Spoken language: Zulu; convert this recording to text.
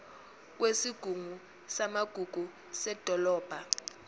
kwesigungu samagugu sedolobha